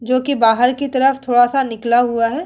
जो कि बाहर की तरफ थोड़ा सा निकला हुआ है।